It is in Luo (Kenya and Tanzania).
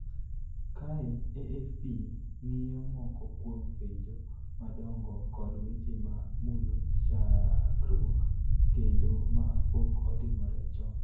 Kae AFP ng�iyo moko kuom penjo madongo kod weche ma mulo chakruok kendo ma pok otimore chon: